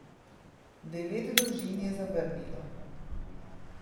Devet družin je zavrnilo.